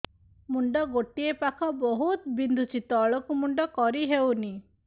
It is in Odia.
ମୁଣ୍ଡ ଗୋଟିଏ ପାଖ ବହୁତୁ ବିନ୍ଧୁଛି ତଳକୁ ମୁଣ୍ଡ କରି ହଉନି